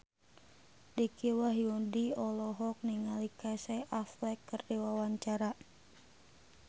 Dicky Wahyudi olohok ningali Casey Affleck keur diwawancara